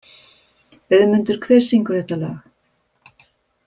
Auðmundur, hver syngur þetta lag?